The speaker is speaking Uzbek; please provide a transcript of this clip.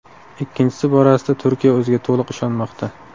Ikkinchisi borasida Turkiya o‘ziga to‘liq ishonmoqda.